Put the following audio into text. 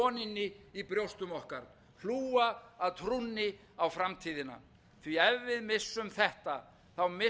í brjóstum okkar hlúa að trúnni á framtíðina því ef við missum þetta missum við allt næstum